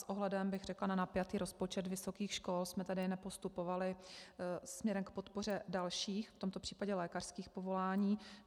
S ohledem, bych řekla, na napjatý rozpočet vysokých škol, jsme tady nepostupovali směrem k podpoře dalších, v tomto případě lékařských povolání.